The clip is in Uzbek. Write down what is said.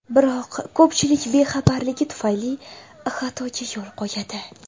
Biroq ko‘pchilik bexabarligi tufayli xatoga yo‘l qo‘yadi.